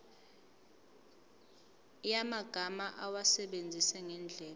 yamagama awasebenzise ngendlela